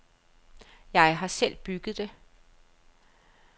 Jeg har selv bygget det.